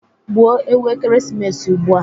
Gbuo ewu ekeresimesi ugbua